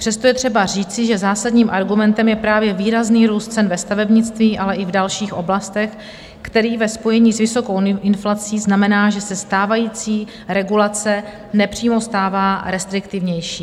Přesto je třeba říci, že zásadním argumentem je právě výrazný růst cen ve stavebnictví, ale i v dalších oblastech, který ve spojení s vysokou inflací znamená, že se stávající regulace nepřímo stává restriktivnější.